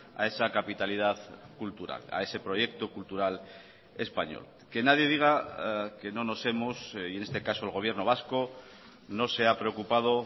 a esa capitalidad cultural a ese proyecto cultural español que nadie diga que no nos hemos y en este caso el gobierno vasco no se ha preocupado